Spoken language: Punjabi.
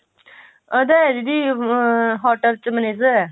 ਉਹਦਾ ਦੀਦੀ ਆਹ hotel ਚ manager ਆ